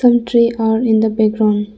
some tree are in the background.